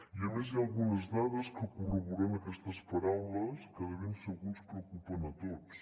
i a més hi ha algunes dades que corroboren aquestes paraules que de ben segur ens preocupen a tots